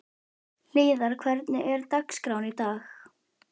Hlíðar, hvernig er dagskráin í dag?